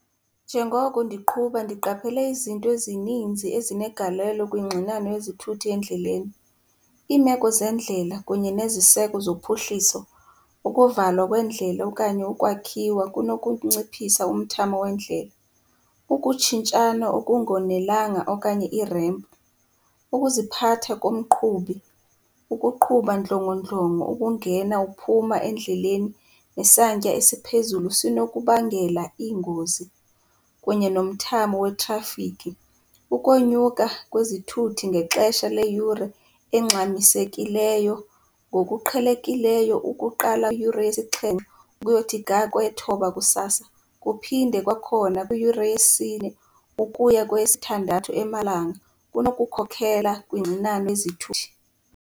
Njengoko ndiqhuba ndiqaphele izinto ezininzi ezinegalelo kwingxinano yezithuthi endleleni. Iimeko zeendlela kunye neziseko zophuhliso, ukuvalwa kweendlela okanye ukwakhiwa kunokunciphisa umthamo weendlela, ukutshintshana okungonelanga okanye i-ramp. Ukuziphatha komqhubi, ukuqhuba ndlongondlongo, ukungena uphuma endleleni, nesantya esiphezulu sinokubangela iingozi. Kunye nomthamo wetrafikhi, ukonyuka kwezithuthi ngexesha leyure engxamisekileyo, ngokuqhelekileyo ukuqala kwiyure yesixhenxe ukuyothi ga kweyethoba kusasa, kuphinde kwakhona kwiyure yesine ukuya kweyesithandathu emalanga kunokukhokela kwingxinano yezithuthi.